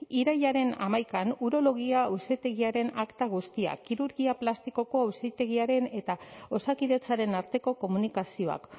irailaren hamaikan urologia auzitegiaren akta guztiak kirurgia plastikoko auzitegiaren eta osakidetzaren arteko komunikazioak